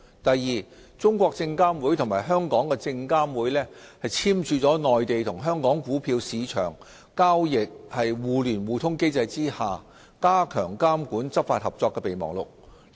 第二，中證監與證監會簽署了《內地與香港股票市場交易互聯互通機制下加強監管執法合作備忘錄》。